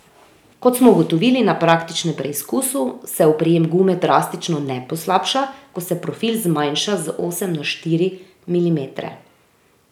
Kot smo ugotovili na praktičnem preizkusu, se oprijem gume drastično ne poslabša, ko se profil zmanjša z osem na štiri milimetre.